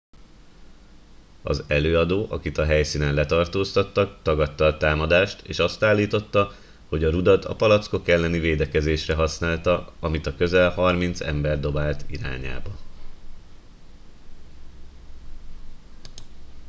az előadó akit a helyszínen letartóztattak tagadta a támadást és azt állította hogy a rudat a palackok elleni védekezésre használta amit a közel harminc ember dobált irányába